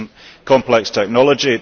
This is not complex technology.